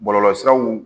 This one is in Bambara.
Bɔlɔlɔsiraw